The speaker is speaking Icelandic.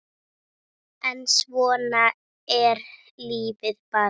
En svona er lífið bara.